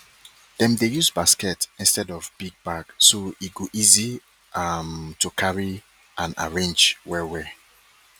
dem dey use basket instead of big bag so e go easy um to carry and arrange well well